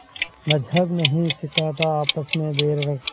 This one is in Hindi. मज़्हब नहीं सिखाता आपस में बैर रखना